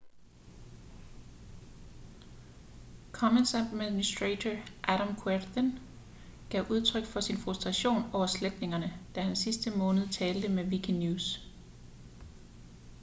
commons-administrator adam cuerden gav udtryk for sin frustration over sletningerne da han sidste måned talte med wikinews